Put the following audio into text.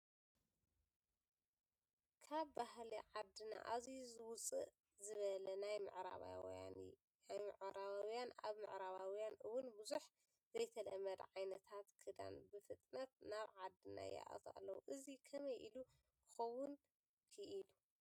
ካብ ባህሊ ዓድና ኣዝዩ ውፅእ ዝበለ ናይ ምዕራባውያን ያውም ኣብ ምዕራባውያን እውን ብዙሕ ዘይተለመደ ዓይነታት ክዳን ብፍጥነት ናብ ዓድና ይኣቱ ኣሎ፡፡ እዚ ከመይ ኢሉ ክኸውን ክኢሉ?